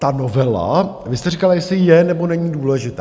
Ta novela, vy jste říkala, jestli je, nebo není důležitá.